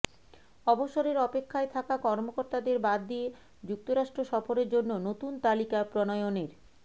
অবসরের অপেক্ষায় থাকা কর্মকর্তাদের বাদ দিয়ে যুক্তরাষ্ট্র সফরের জন্য নতুন তালিকা প্রণয়নের